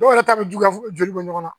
Dɔw yɛrɛ ta bɛ juguya joli bɛ ɲɔgɔn na